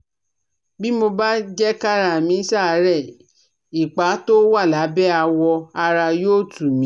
Bí mo bá jẹ́ kára mí ṣàárẹ̀ ipa tó wà lábẹ́ awọ ara yóò tù mí